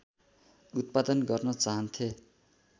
उत्पादन गर्न चाहन्थे